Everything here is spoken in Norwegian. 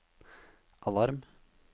alarm